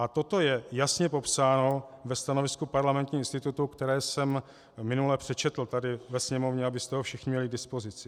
A toto je jasně popsáno ve stanovisku Parlamentního institutu, které jsem minule přečetl tady ve sněmovně, abyste ho všichni měli k dispozici.